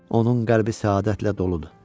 Onun qəlbi səadətlə doludur.